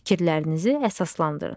Fikirlərinizi əsaslandırın.